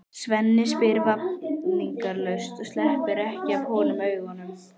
Svenni spyr vafningalaust og sleppir ekki af honum augunum.